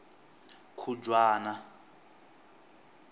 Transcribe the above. khujwana